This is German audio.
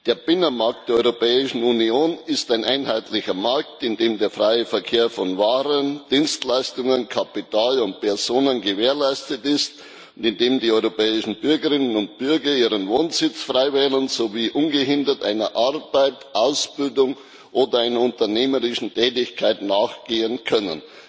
Der Binnenmarkt der Europäischen Union ist ein einheitlicher Markt, in dem der freie Verkehr von Waren, Dienstleistungen, Kapital und Personen gewährleistet ist und in dem die europäischen Bürgerinnen und Bürger ihren Wohnsitz frei wählen sowie ungehindert einer Arbeit, Ausbildung oder unternehmerischen Tätigkeit nachgehen können.